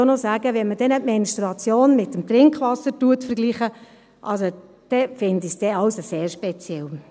Und dann möchte ich auch noch sagen: Wenn man die Menstruation mit dem Trinkwasser vergleicht, dann finde ich das sehr speziell.